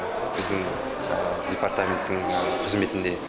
біздің департаменттің қызметінде